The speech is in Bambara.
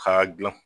K'a dilan